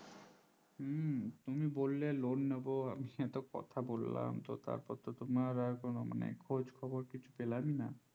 হম তুমি বললে loan নেব কথা বললাম তার পর তোমার মানে খোঁজ খবর কিছু পেলাম না।